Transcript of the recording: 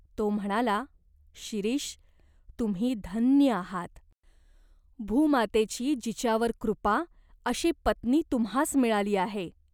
तो म्हणाला, "शिरीष, तुम्ही धन्य आहात. भूमातेची जिच्यावर कृपा, अशी पत्नी तुम्हास मिळाली आहे.